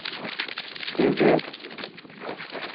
Duved